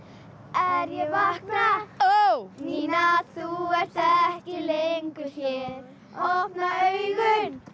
er ég vakna Nína þú ert ekki lengu hér opna augun